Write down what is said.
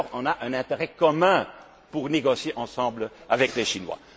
là dessus. Nous aurons alors un intérêt commun pour négocier ensemble, avec les